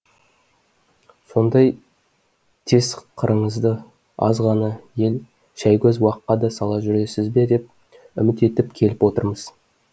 сондай тез қырыңызды аз ғана ел шәйгөз уаққа да сала жүресіз бе деп үміт етіп келіп отырмыз